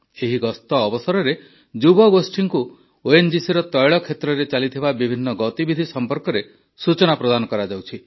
ଏହି ଗସ୍ତ ଅବସରରେ ଯୁବଗୋଷ୍ଠୀଙ୍କୁ ଓଏନଜିସିର ତୈଳ କ୍ଷେତ୍ରରେ ଚାଲିଥିବା ବିଭିନ୍ନ ଗତିବିଧି ସମ୍ପର୍କରେ ସୂଚନା ଦିଆଯାଉଛି